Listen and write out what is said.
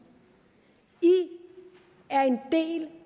i er en del